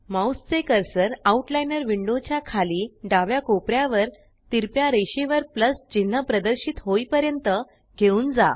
mouse चे cursor outliner window च्या खाली डाव्या कोपर्यावर तिरप्या रेषेवर प्लस चिन्ह प्रदर्शित होईपर्यंत घेऊन जा